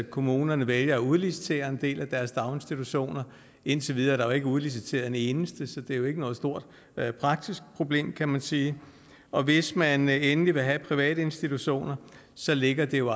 kommunerne vælger at udlicitere en del af deres daginstitutioner indtil videre er der ikke udliciteret en eneste så det er jo ikke noget stort praktisk problem kan man sige og hvis man endelig vil have private institutioner så ligger det jo